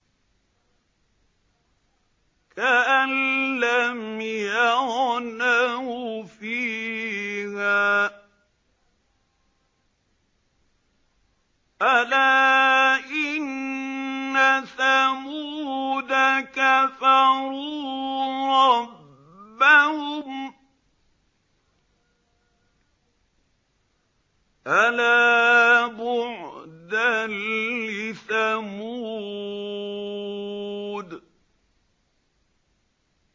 كَأَن لَّمْ يَغْنَوْا فِيهَا ۗ أَلَا إِنَّ ثَمُودَ كَفَرُوا رَبَّهُمْ ۗ أَلَا بُعْدًا لِّثَمُودَ